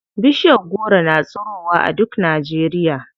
Bishiyar goro na tsirowa a duk Najeriya.